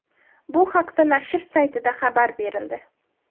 Bu haqda nashr saytida xabar berildi .